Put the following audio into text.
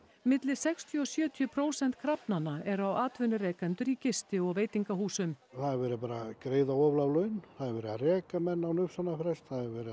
milli sextíu og sjötíu prósent krafnanna eru á atvinnurekendur á gisti og veitingahúsum það er verið að greiða of lág laun það er verið að reka menn án uppsagnarfrests